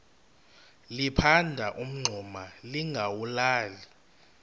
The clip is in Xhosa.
liphanda umngxuma lingawulali